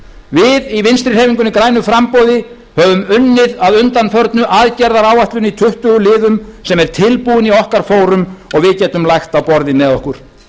við í vinstri hreyfingunni grænu framboði höfum unnið að undanförnu aðgerðaáætlun í tuttugu liðum sem er tilbúin í okkar fórum og við getum lagt á borðið með okkur